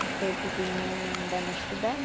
Porque pequenininha ainda não estudava.